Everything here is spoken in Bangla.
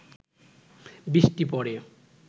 বৃষ্টি পড়ে